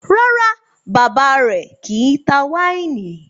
Rárá, bàbá rẹ̀ kì í tá wáìnì.